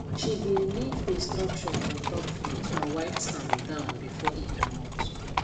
she be leave instructions ontop fridge and wiped am down before e comot